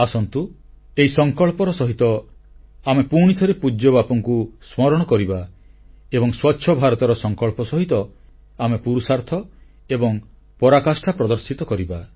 ଆସନ୍ତୁ ଏହି ସଂକଳ୍ପର ସହିତ ଆମେ ପୁଣିଥରେ ପୂଜ୍ୟବାପୁଙ୍କୁ ସ୍ମରଣ କରିବା ଏବଂ ସ୍ୱଚ୍ଛ ଭାରତର ସଂକଳ୍ପ ସହିତ ଆମେ ପୁରୁଷାର୍ଥ ଏବଂ ପରାକାଷ୍ଠା ପ୍ରଦର୍ଶିତ କରିବା